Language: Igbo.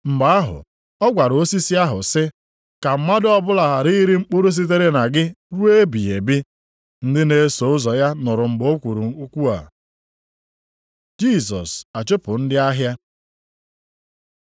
Mgbe ahụ, ọ gwara osisi ahụ sị, “Ka mmadụ ọbụla ghara iri mkpụrụ sitere na gị ruo ebighị ebi.” Ndị na-eso ụzọ ya nụrụ mgbe o kwuru okwu a. Jisọs achụpụ ndị ahịa